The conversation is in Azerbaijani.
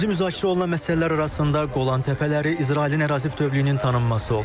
İkinci müzakirə olunan məsələlər arasında Qolan təpələri, İsrailin ərazi bütövlüyünün tanınması olub.